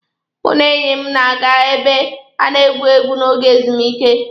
Mụ na enyi m na-aga ebe a na-egwu egwu n'oge ezumike.